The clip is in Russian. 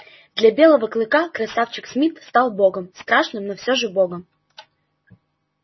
для белого клыка красавчик смит стал богом страшным но все же богом